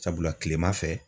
Sabula kilema fɛ